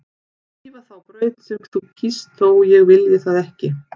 Svífa þá braut sem þú kýst þótt ég vilji það ekki.